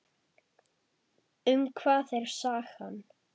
Um hvað er sagan?